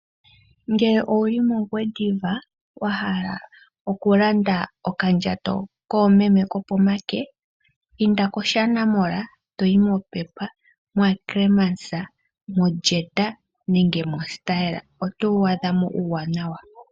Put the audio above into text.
Ngele owuli mOngwediva, wa hala oku landa okandjato koomeme kopomake, inda kOshana Mall, toyi moPep, moAckermans, moJet nenge moStyle otowu adha mo uuwaanawa.